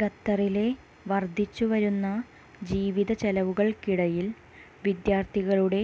ഖത്തറിലെ വർധിച്ചുവരുന്ന ജീവിത ചെലവുകൾക്കിടയിൽ വിദ്യാർത്ഥികളുടെ